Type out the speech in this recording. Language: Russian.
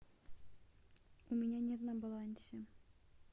у меня нет на балансе